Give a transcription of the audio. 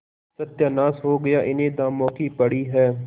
सत्यानाश हो गया इन्हें दामों की पड़ी है